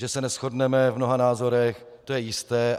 Že se neshodneme v mnoha názorech, to je jisté.